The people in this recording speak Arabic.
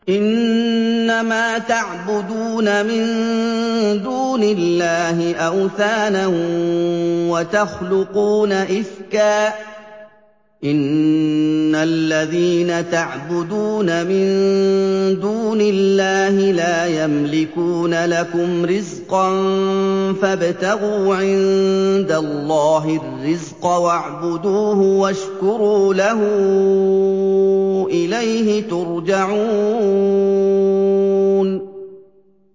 إِنَّمَا تَعْبُدُونَ مِن دُونِ اللَّهِ أَوْثَانًا وَتَخْلُقُونَ إِفْكًا ۚ إِنَّ الَّذِينَ تَعْبُدُونَ مِن دُونِ اللَّهِ لَا يَمْلِكُونَ لَكُمْ رِزْقًا فَابْتَغُوا عِندَ اللَّهِ الرِّزْقَ وَاعْبُدُوهُ وَاشْكُرُوا لَهُ ۖ إِلَيْهِ تُرْجَعُونَ